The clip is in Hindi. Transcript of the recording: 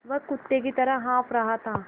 वह कुत्ते की तरह हाँफ़ रहा था